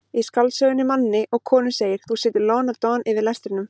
Í skáldsögunni Manni og konu segir: þú situr lon og don yfir lestrinum.